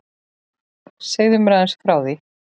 Segðu mér aðeins frá því.